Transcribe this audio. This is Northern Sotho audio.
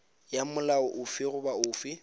ya molao ofe goba ofe